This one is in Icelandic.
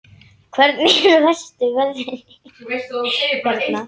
Hvernig eru verstu veðrin hérna?